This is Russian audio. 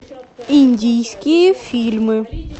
индийские фильмы